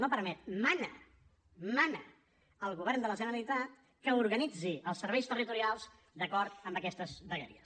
no permet mana mana al govern de la generalitat que organitzi els serveis territorials d’acord amb aquestes vegueries